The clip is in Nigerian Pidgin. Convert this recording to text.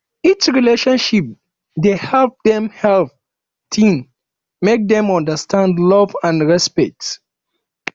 each relationship dey help dey help teen make dem understand love and respect